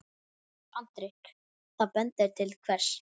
Andri: Það bendir til hvers?